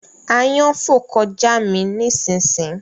Àyàn fò kọjá mí ni sìn sìn